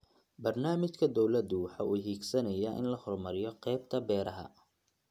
Barnaamijka dawladdu waxa uu higsanayaa in la horumariyo qaybta beeraha.